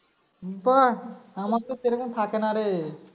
বাহ্ আমার তো সেরকম থাকে না রে